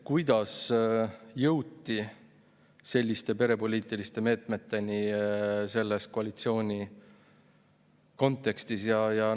Kuidas jõuti selliste perepoliitiliste meetmeteni selle koalitsiooni kontekstis?